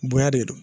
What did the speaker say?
Bonya de don